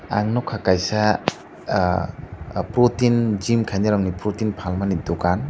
ang nukha kaisa protein aa gym khainai rokni protein phalmani dukan.